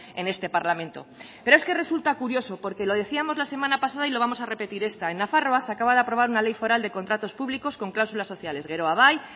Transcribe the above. en este parlamento pero es que resulta curioso porque lo decíamos la semana pasada y lo vamos a repetir esta en nafarroa se acaba de aprobar una ley foral de contratos públicos con cláusulas sociales geroa bai